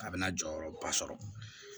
A bɛna jɔyɔrɔba sɔrɔ